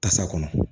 Tasa kɔnɔ